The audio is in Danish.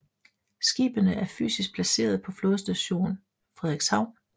Skibene er fysisk placeret på Flådestation Frederikshavn